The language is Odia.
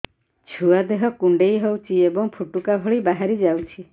ଛୁଆ ଦେହ କୁଣ୍ଡେଇ ହଉଛି ଏବଂ ଫୁଟୁକା ଭଳି ବାହାରିଯାଉଛି